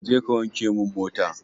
Je kawanke min mota.